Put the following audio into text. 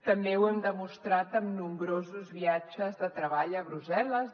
també ho hem demostrat en nombrosos viatges de treball a brussel·les